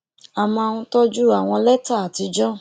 a máa ń tójú àwọn létà àtijó